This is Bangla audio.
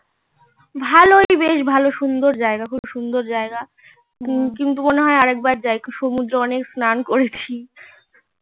ভালোই বেশ ভালো সুন্দর জায়গা খুব সুন্দর জায়গা কিন্তু আর একবার যাই সমুদ্র অনেক স্নান করেছি এ